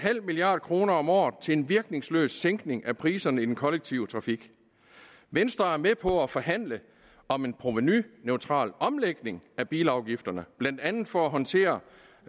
milliard kroner om året til en virkningsløs sænkning af priserne i den kollektive trafik venstre er med på at forhandle om en provenuneutral omlægning af bilafgifterne blandt andet for at håndtere